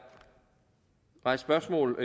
rejst spørgsmål